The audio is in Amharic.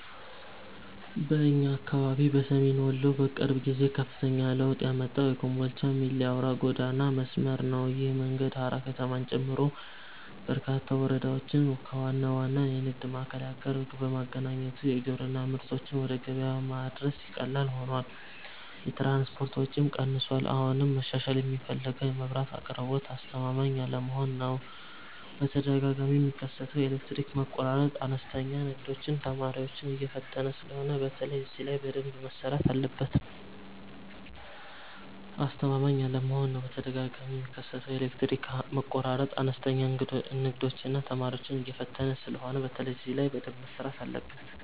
በእኛ አካባቢ በሰሜን ወሎ በቅርብ ጊዜ ከፍተኛ ለውጥ ያመጣው የኮምቦልቻ - ሚሌ አውራ ጎዳና መስመር ነው። ይህ መንገድ ሃራ ከተማን ጨምሮ በርካታ ወረዳዎችን ከዋና ዋና የንግድ ማዕከላት ጋር በማገናኘቱ የግብርና ምርቶችን ወደ ገበያ ማድረስ ቀላል ሆኗል፤ የትራንስፖርት ወጪም ቀንሷል። አሁንም መሻሻል የሚፈልገው የመብራት አቅርቦት አስተማማኝ አለመሆን ነው፤ በተደጋጋሚ የሚከሰተው የኤሌክትሪክ መቆራረጥ አነስተኛ ንግዶችንና ተማሪዎችን እየፈተነ ስለሆነ በተለይ እዚህ ላይ በደንብ መሰራት አለበት።